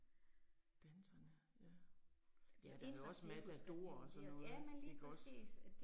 Danserne ja. Ja der er også Matador og sådan noget ikke også